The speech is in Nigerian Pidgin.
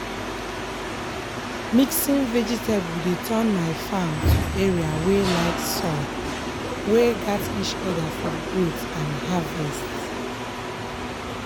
mixing vegetable dey turn my farm to area wey like soil wey gat each other for growth and harvest.